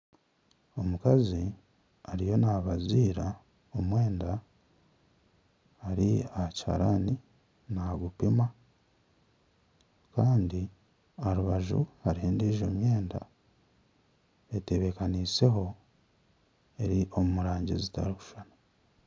Omukazi ariyo nabaziira omwenda Ari aha kiharani nagupima Kandi aharubaju hariho endiijo myenda etebekaniseho eri omu rangi zitarikushushana.